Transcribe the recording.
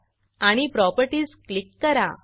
आणि properties properties click करा